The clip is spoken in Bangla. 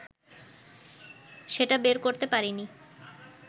সেটা বের করতে পারিনি